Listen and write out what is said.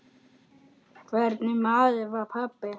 Hvernig maður var pabbi?